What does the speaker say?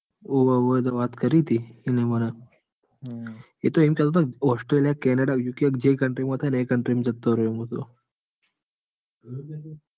હોવ હોવ એને વાત કરી તી એને મન. એટલે એનું ઑસ્ટ્રેલિયા કેનેડા યુકે કે જે country માં થાય એ country માંજતું રેવું હ.